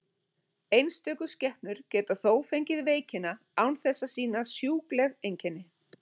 Einstöku skepnur geta þó fengið veikina án þess að sýna sjúkleg einkenni.